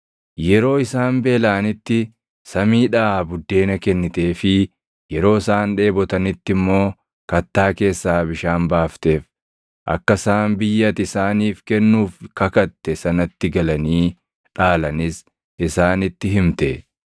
Yeroo isaan beelaʼanitti samiidhaa buddeena kenniteefii yeroo isaan dheebotanitti immoo kattaa keessaa bishaan baafteef; akka isaan biyya ati isaaniif kennuuf kakatte sanatti galanii dhaalanis isaanitti himte.